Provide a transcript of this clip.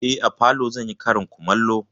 Eh, a falo zan yi karin kumallo.